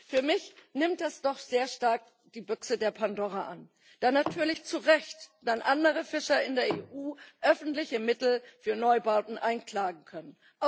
Für mich nimmt das doch sehr stark die Büchse der Pandora an da dann natürlich zu Recht andere Fischer in der EU öffentliche Mittel für Neubauten einklagen können.